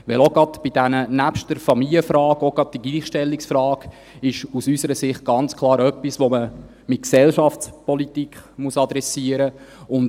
Denn neben der Familienfrage ist auch gerade die Gleichstellungsfrage aus unserer Sicht ganz klar etwas, das man in der Gesellschaftspolitik adressieren muss.